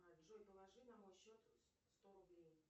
джой положи на мой счет сто рублей